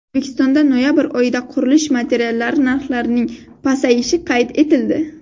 O‘zbekistonda noyabr oyida qurilish materiallari narxlarining pasayishi qayd etildi.